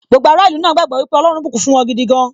Gbogbo ará ìlú náà gbagbọ wípé ọlọ́run bùkún fún wọn gidi gan